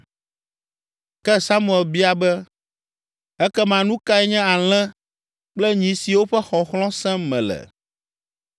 Ke Samuel biae be, “Ekema nu kae nye alẽ kple nyi siwo ƒe xɔxlɔ̃ sem mele?”